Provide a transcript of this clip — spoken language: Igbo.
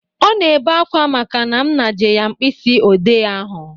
Ọ na-ebe akwa maka na m naje ya mkpịsị ode ahụ